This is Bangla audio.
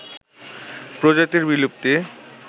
প্রজাতির বিলুপ্তি